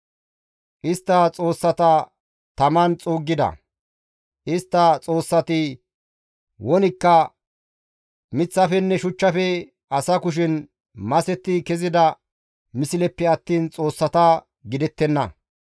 Istta xoossata taman xuuggida; istta xoossati wonikka miththafenne shuchchafe asa kushen masetti kezida misleppe attiin xoossata gidettenna.